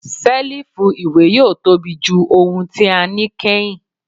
Selifu iwe yoo tobi ju ohun ti a ni kẹhin